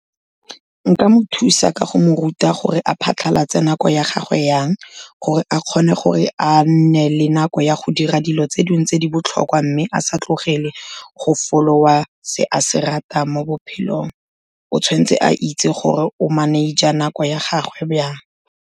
Nka mo thusa ka go mo ruta gore a phatlhalatse nako ya gagwe jang, gore a kgone gore a nne le nako ya go dira dilo tse dingwe tse di botlhokwa, mme a sa tlogele go follow-a se a se ratang mo bophelong. O tshwan'tse a itse gore o manage-a nako ya gagwe jang.